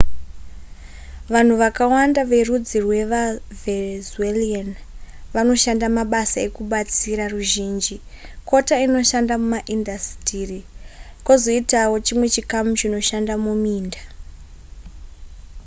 vanhu vakawanda verudzi rwevavenzuelan vanoshanda mabasa ekubatsira ruzhinji kota inoshanda mumaindasitiri kwozoitawo chimwe chikamu chinoshanda muminda